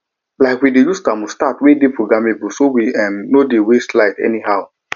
um we dey use thermostat wey dey programmable so we um no go dey waste light anyhow